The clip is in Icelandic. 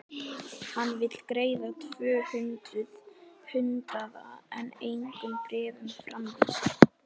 Hann vill greiða tvö hundruð hundraða en engum bréfum framvísa!